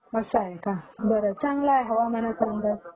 हं हं. असं आहे का? बरं. चांगलं आहे हवामानाचं.